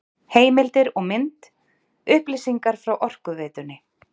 Heimildir og mynd: Upplýsingar frá Orkuveitunni.